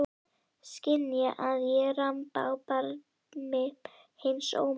Skynja að ég ramba á barmi hins ómögulega.